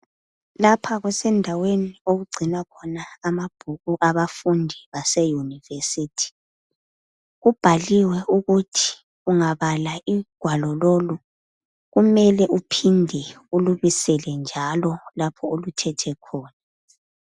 Lapha kusendaweni okugcinwa khona amabhuku abafundi baseyunivesithi. Kubhaliwe ukuthi ungabala ugwalo lolu, kumele kuphinde ulubisele njalo lapho oluthethe khona.